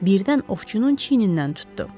Birdən ovçunun çiynindən tutdu.